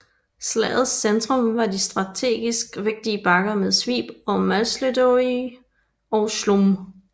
Slagets centrum var de strategisk vigtige bakker Svib ved Máslojedy og Chlum